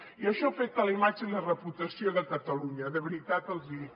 i això afecta la imatge i la reputació de catalunya de veritat els hi dic